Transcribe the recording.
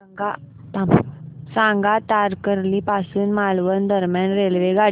सांगा तारकर्ली पासून मालवण दरम्यान रेल्वेगाडी